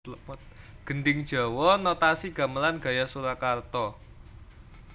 Gendhing Jawa Notasi Gamelan gaya Surakarta